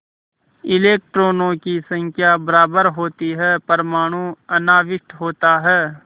इलेक्ट्रॉनों की संख्या बराबर होती है परमाणु अनाविष्ट होता है